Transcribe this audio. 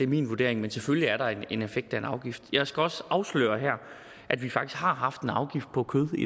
min vurdering men selvfølgelig er der en effekt af en afgift jeg skal også afsløre her at vi faktisk har haft en afgift på kød i